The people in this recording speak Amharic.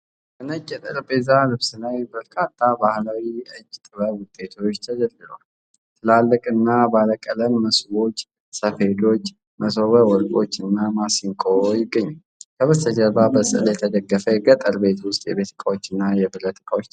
በነጭ የጠረጴዛ ልብስ ላይ በርካታ ባህላዊ የእጅ ጥበብ ውጤቶች ተደርድረዋል። ትላልቅና ባለቀለም መሶቦች፣ ሰፌዶች፣ መሶበ ወርቆች እና ማሲንቆ ይገኛሉ። ከበስተጀርባ በሥዕል የተደገፈ የገጠር ቤት ውስጥ የቤት እቃዎችና የብረት ዕቃዎች ተሰቅለዋል።